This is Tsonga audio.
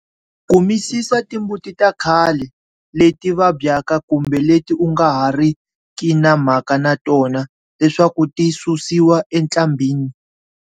Kumisisa timbuti ta khale, leti vabyaka kumbe leti u nga ha ri ki na mhaka na tona leswaku ti susiwa entlambhinni.